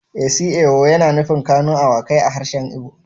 Isi ewu yana nufin kanu awakai a harshen igbo